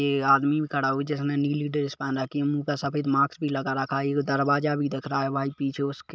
ए आदमी भी खड़ा हुआ जिसने नीली ड्रेस पहन रखी हुई है मुँह पे सफेद मास्क लगा रखा है एक दरवाजा भी दिख रहा है भाई पीछे उसके--